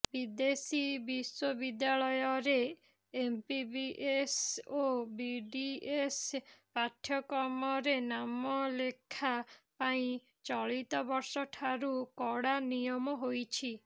ବିଦେଶୀ ବିଶ୍ବବିଦ୍ୟାଳୟରେ ଏମ୍ବିବିଏସ୍ ଓ ବିଡିଏସ୍ ପାଠ୍ୟକ୍ରମରେ ନାମଲେଖା ପାଇଁ ଚଳିତବର୍ଷଠାରୁ କଡ଼ା ନିୟମ ହୋଇଛି